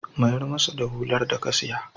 Mayar masa da hular da ka saya.